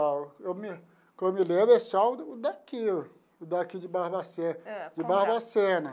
Ó eu me o que eu me lembro é só o o daqui, o daqui de Barbacena . Ãh. De Barbacena.